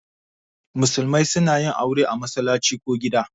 Musulmai suna yin aure a masallaci ko gida.